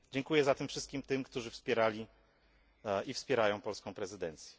Dziękuję zatem wszystkim tym, którzy wspierali i wspierają polską prezydencję.